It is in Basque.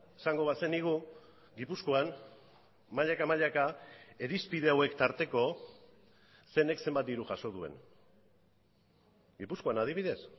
esango bazenigu gipuzkoan mailaka mailaka irizpide hauek tarteko zeinek zenbat diru jaso duen gipuzkoan adibidez